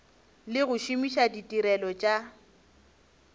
le go šomiša ditirelo tša